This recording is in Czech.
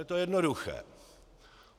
Je to jednoduché.